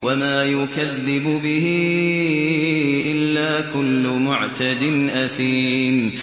وَمَا يُكَذِّبُ بِهِ إِلَّا كُلُّ مُعْتَدٍ أَثِيمٍ